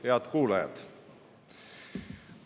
Head kuulajad!